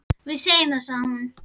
Þá segjum við það, sagði hún.